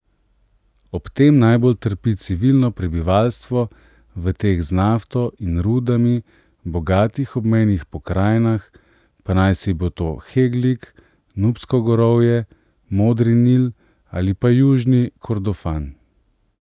Ob tem najbolj trpi civilno prebivalstvo v teh z nafto in rudami bogatih obmejnih pokrajinah, pa naj si bo to Heglig, Nubsko gorovje, Modri Nil ali pa Južni Kordofan.